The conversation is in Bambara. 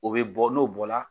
O bɛ bɔ n'o bɔla.